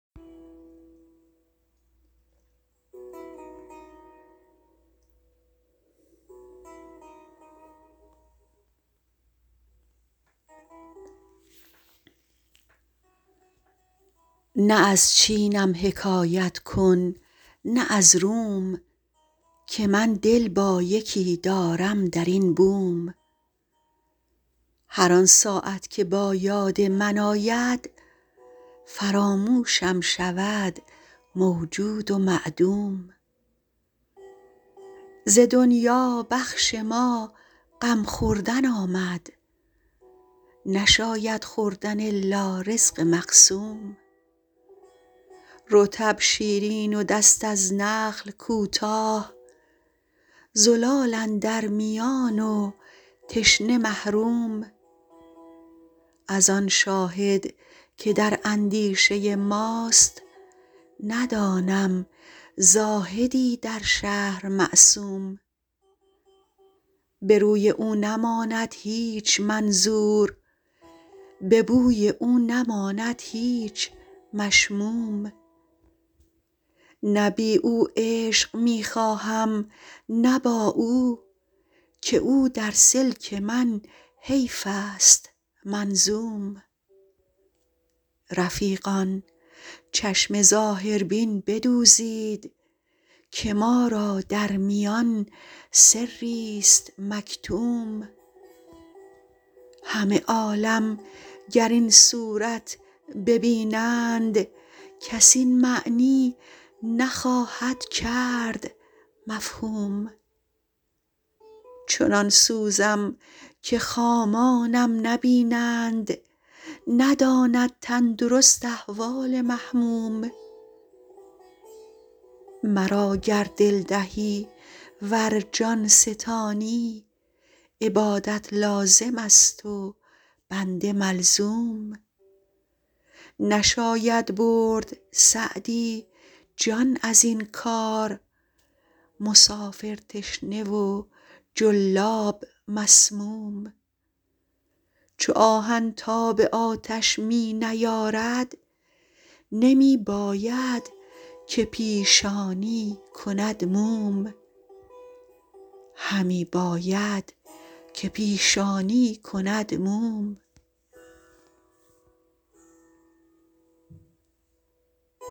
نه از چینم حکایت کن نه از روم که من دل با یکی دارم در این بوم هر آن ساعت که با یاد من آید فراموشم شود موجود و معدوم ز دنیا بخش ما غم خوردن آمد نشاید خوردن الا رزق مقسوم رطب شیرین و دست از نخل کوتاه زلال اندر میان و تشنه محروم از آن شاهد که در اندیشه ماست ندانم زاهدی در شهر معصوم به روی او نماند هیچ منظور به بوی او نماند هیچ مشموم نه بی او عیش می خواهم نه با او که او در سلک من حیف است منظوم رفیقان چشم ظاهربین بدوزید که ما را در میان سریست مکتوم همه عالم گر این صورت ببینند کس این معنی نخواهد کرد مفهوم چنان سوزم که خامانم نبینند نداند تندرست احوال محموم مرا گر دل دهی ور جان ستانی عبادت لازم است و بنده ملزوم نشاید برد سعدی جان از این کار مسافر تشنه و جلاب مسموم چو آهن تاب آتش می نیارد همی باید که پیشانی کند موم